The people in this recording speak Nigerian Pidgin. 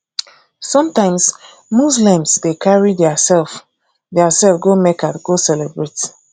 sometimes muslims dey carry their self their self go mecca go celebrate